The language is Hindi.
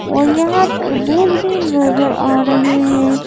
और यहां तरबूज़ भी नज़र आ रहे हैं।